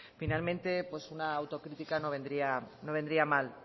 finalmente una autocrítica no vendría no vendría mal